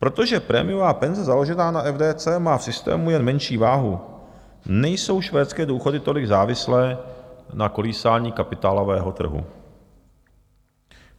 Protože prémiová penze založená na FDC má v systému jen menší váhu, nejsou švédské důchody tolik závislé na kolísání kapitálového trhu.